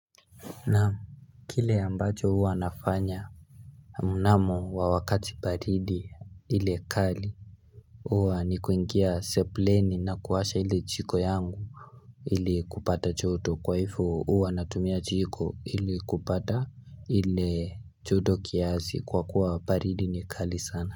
Naam Kile ambacho huwa nafanya Namu wawakati baridi ile kali huwa ni kuingia sepleni na kuwasha ile chiko yangu ili kupata choto kwaifu uwa natumia chiko ili kupata ile choto kiazi kwa kuwa paridi ni kali sana.